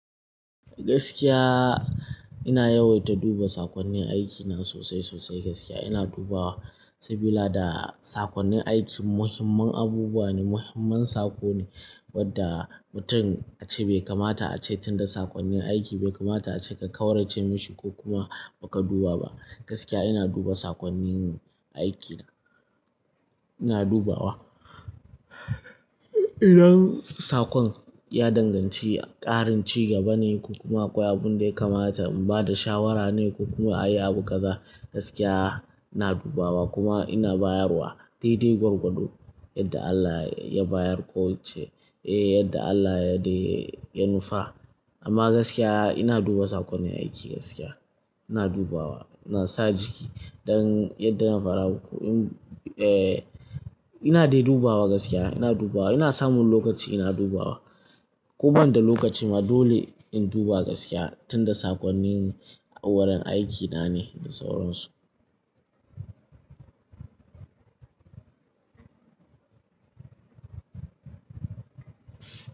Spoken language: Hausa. Gaskiya ina yawaita duba saƙonnin aikina sosai sosai gaskiya ina dubawa saboda da saƙonnin aiki muhimman abubuwa ne, muhimman saƙo ne wadda mutum ace bai kamata ace tunda saƙonnin aiki bai kamata ace ka ƙaurace mashi ko kuma baka duba ba. Gaskiya ina duba saƙonnin aikina, ina dubawa. Idan saƙon ya danganci ƙarin ci karin cigaba ne ko kuma akwai abun da ya kamata in ba da shawara ne ko kuma ayi abu ƙaza gaskiya ina dubawa kuma ina bayarwa dai dai gwargwado yadda Allah ya bayar ko ya ce, eh yadda Allah ya dai ya nufa. Amma gaskiya ina duba saƙonnin aiki gaskiya ina dubawa ina sa jiki don yadda na fada muku in, eh ina dai dubawa gaskiya ina dubawa ina samun lokaci ina dubawa. Ko ban da lokaci ma dole in duba gaskiya tunda saƙonnin wurin aikina ne da sauransu.